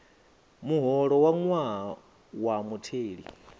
muholo wa ṅwaha wa mutheli